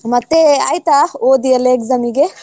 ಮತ್ತೆ ಆಯ್ತಾ ಓದಿಯೆಲ್ಲ exam ಗೆ?